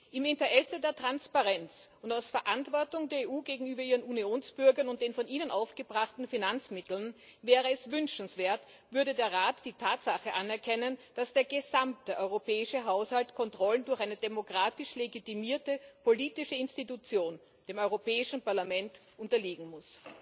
Im Interesse der Transparenz und aus Verantwortung der EU gegenüber ihren Unionsbürgern und den von ihnen aufgebrachten Finanzmitteln wäre es wünschenswert, würde der Rat die Tatsache anerkennen, dass der gesamte europäische Haushalt Kontrollen durch eine demokratisch legitimierte politische Institution, das Europäische Parlament, unterliegen muss.